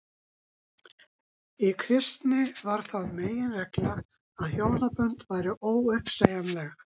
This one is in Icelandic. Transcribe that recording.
í kristni varð það meginregla að hjónabönd væru óuppsegjanleg